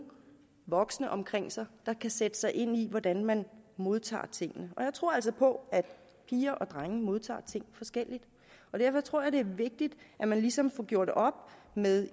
voksne omkring sig der kan sætte sig ind i hvordan man modtager tingene og jeg tror altså på at piger og drenge modtager ting forskelligt og derfor tror jeg det er vigtigt at man ligesom får gjort op med